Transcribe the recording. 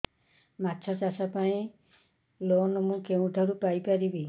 ମାଛ ଚାଷ ପାଇଁ ଲୋନ୍ ମୁଁ କେଉଁଠାରୁ ପାଇପାରିବି